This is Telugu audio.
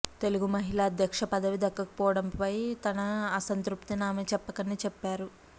తెలుగు మహిళ అధ్యక్ష పదవి దక్కకపోవడంపై తన అసంతృప్తిని ఆమె చెప్పకనే చెప్పారు